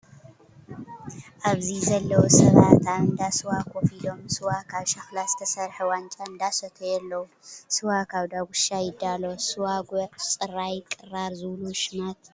ኣብዚ ዘለው ሰባት ኣብ እንዳስዋ ኮፍ ኢሎም ስዋ ካብ ሸክላ ዝተሰረሐ ዋንጫ እንዳሰተዩ ኣለው። ስዋ ካብ ዳግሻ ይዳሎ፣ ስዋ ጉዕ፣ ፅራይ፣ ቅራር ዝብሉ ሽማት እውን ኣለውዎ።